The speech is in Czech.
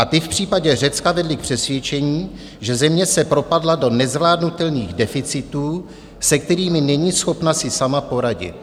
A ty v případě Řecka vedly k přesvědčení, že země se propadla do nezvládnutelných deficitů, se kterými není schopna si sama poradit.